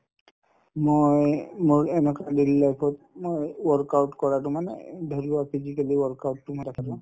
মই মোৰ এনেকুৱা daily life ত মই work out কৰাতো মানে ধৰিলোৱা physically work out তো মই ৰাখা যায়